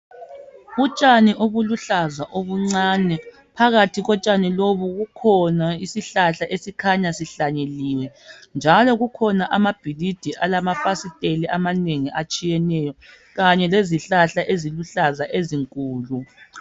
Utshani obuluhlaza obuncane phakathi kotshani lobu kukhona isihlahla esikhanya sihlanyeliwe njalo kukhona amabhilidi alamafasiteli amanengi atshiyeneyo kanye lezihlahla eziluhlaza ezinkulu.